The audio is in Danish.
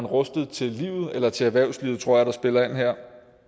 rustet til livet eller til erhvervslivet tror spiller ind her